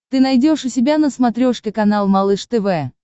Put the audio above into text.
ты найдешь у себя на смотрешке канал малыш тв